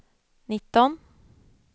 nitton